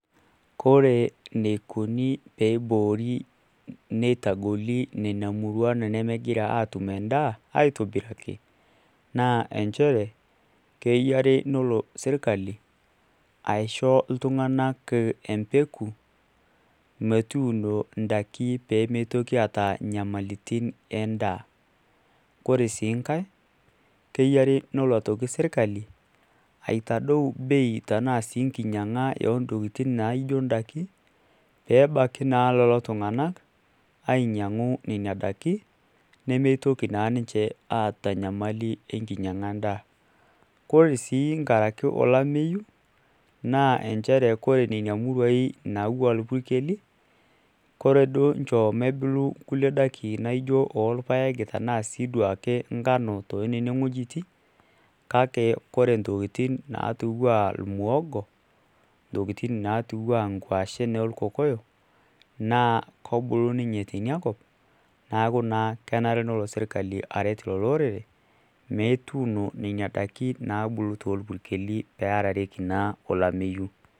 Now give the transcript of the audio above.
Kore enikoni pee iboori neitagoli nena murua nemegira aatum en`daa, aitobiraki naa nchere keyiare nelo sirkali aisho iltung`anak empeku metuuno in`daiki pee mitoki aata nyamalaritin e n`daa. Ore sii nkae keyiare nelo sii sirkali aitadou bei tenaa sii enkinyiang`a oo ntokitin naijo n`daiki pee ebaiki naa lelo tung`anak ainyiang`u nena daiki nemitoki naa ninche aata enyamali enkinyiang`a e n`daa. Kore sii enkaraki ake olamameyu naa nchere ore nena muruai naawua irpukeli ore duoo inchoo ebulu nkulie `daiki naijo oo ilpaek tenaa sii duake enkano too nena wuejitin. Kake ore naatiwaa ilmuhogo ntokitin natiwaa nkuashen oo olkokoyok naa kobulu ninche teina kop. Niaku naa kenare nelo sirkali aret lelo orere metuuno nena daiki naabulu too irpukeli pee eyarareki naa olameyu.